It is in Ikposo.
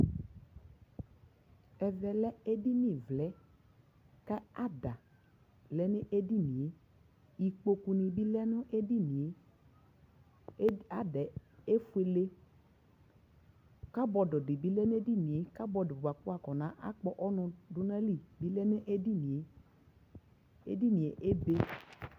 Ɛvɛ lɛ edinivlɛ, kʋ ada lɛ nʋ edini yɛAda yɛ efuele Kabɔdʋ dι bιlɛ nʋ edini yɛ, kabɔdʋ dι bι lɛ nʋ edini yɛ, kabɔdʋ bʋa kʋ wʋ afɔna kpɔ ɔnʋ dʋ nʋ ayili bι lɛ nʋ edini yɛ Edini yɛ ebe